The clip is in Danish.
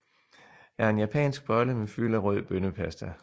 er en japansk bolle med fyld af rød bønnepasta